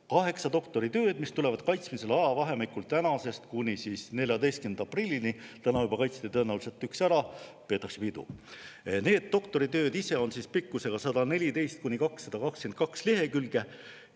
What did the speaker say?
Kaheksa doktoritööd, mis tulevad kaitsmisele ajavahemikul tänasest kuni 14. aprillini – täna tõenäoliselt juba kaitsti üks ära, peetakse pidu –, on pikkusega 114–222 lehekülge.